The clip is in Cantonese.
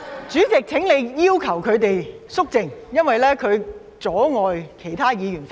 主席，請你要求他們肅靜，因為他們阻礙我發言。